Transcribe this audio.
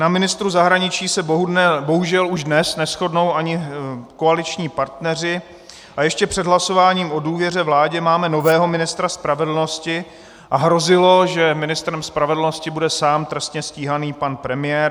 Na ministru zahraničí se bohužel už dnes neshodnou ani koaliční partneři a ještě před hlasováním o důvěře vládě máme nového ministra spravedlnosti a hrozilo, že ministrem spravedlnosti bude sám trestně stíhaný pan premiér.